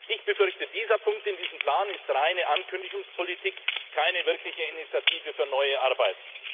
Ich befürchte, dieser Punkt in diesem Plan ist reine Ankündigungspolitik, keine wirkliche Initiative für neue Arbeit.